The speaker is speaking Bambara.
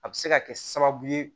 A bɛ se ka kɛ sababu ye